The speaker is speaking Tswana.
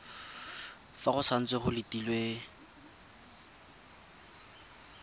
fa go santse go letilwe